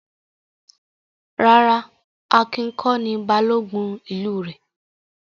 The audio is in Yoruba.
Rárá, Akin kọ́ ni Balógun ìlú rẹ̀.